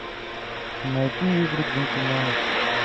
найти игры джентльменов